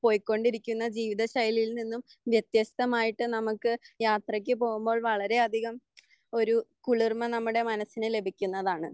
പോയിക്കൊണ്ടിരിക്കുന്ന ജീവിത ശൈലിയിൽ നിന്നും വ്യത്യസ്ഥമായിട്ട് നമുക്ക് യാത്രക്ക് പോകുമ്പോൾ വളരെ അധികം ഒരു കുളിർമ നമ്മുടെ മനസ്സിന് ലഭിക്കുന്നതാണ്.